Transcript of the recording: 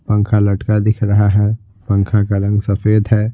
पंखा लटका दिख रहा है पंखा का रंग सफेद है।